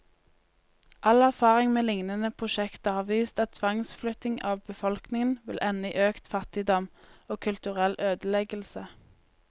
All erfaring med lignende prosjekter har vist at tvangsflytting av befolkningen vil ende i økt fattigdom, og kulturell ødeleggelse.